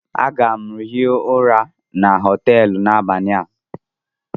Aga m hie ụra na họtelu n'abalị a.